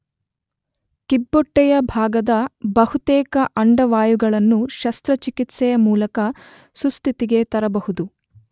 ಕಿಬ್ಬೊಟ್ಟೆಯ ಭಾಗದ ಬಹುತೇಕ ಅಂಡವಾಯುಗಳನ್ನು ಶಸ್ತ್ರಚಿಕಿತ್ಸೆಯ ಮೂಲಕ ಸುಸ್ಥಿತಿಗೆ ತರಬಹುದು